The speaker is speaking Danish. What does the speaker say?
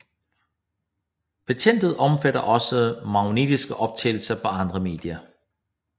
Patentet omfattede også magnetisk optagelse på andre medier